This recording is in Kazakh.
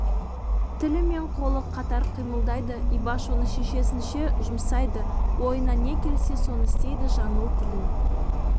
тілі мен қолы қатар қимылдайды ибаш оны шешесінше жұмсайды ойына не келсе соны істейді жаңыл тілін